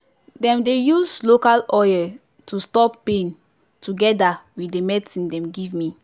dem dey use local oil to stop pain togeda with the medcine dem give me.